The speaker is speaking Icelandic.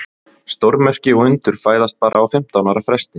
Stórmerki og undur fæðast bara á fimmtán ára fresti.